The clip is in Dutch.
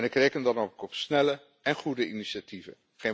En ik reken dan ook op snelle en goede initiatieven.